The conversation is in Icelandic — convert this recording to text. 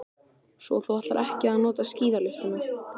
Svo þú ætlar ekki að nota skíðalyftuna.